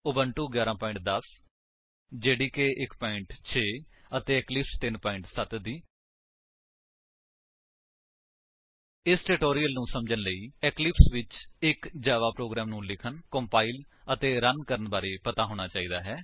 Ubuntu version 11 10 JDK 1 6 ਅਤੇ Eclipse 3 7 0 ਇਸ tutorial ਨੂੰ ਸਮਝਣ ਲਈ ਤੁਹਾਨੂੰ ਇਕਲਿਪਸ ਵਿੱਚ ਇਕ ਜਾਵਾ ਪ੍ਰੋਗਰਾਮ ਨੂੰ ਲਿਖਣ ਕੰਪਾਇਲ ਅਤੇ ਰਨ ਕਰਨ ਬਾਰੇ ਪਤਾ ਹੋਣਾ ਚਾਹੀਦਾ ਹੈ